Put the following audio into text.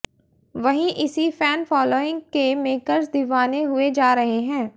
वहीं इसी fan following के मेकर्स दीवाने हुए जा रहे हैं